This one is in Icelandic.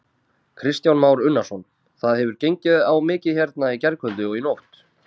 Kristján Már Unnarsson: Það hefur gengið á mikið hérna í gærkvöldi og í nótt?